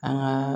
An ka